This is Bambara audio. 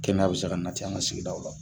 Kɛnɛya bɛ se ka na ten an ka sigidaw la